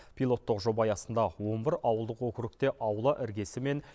пилоттық жоба аясында он бір ауылдық округте аула іргесі мен